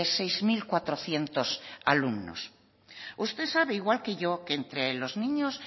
seis mil cuatrocientos alumnos usted sabe igual que yo que entre los niños